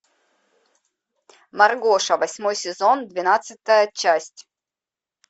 маргоша восьмой сезон двенадцатая часть